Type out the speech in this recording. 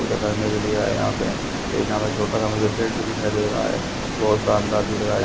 पूजा करने के लिए आए यहां पे एक यहां पे छोटा सा मुझे पेट भी दिखाई दे रहा है बहुत शानदार दिख रहा है।